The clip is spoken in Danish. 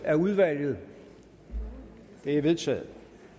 af udvalget det er vedtaget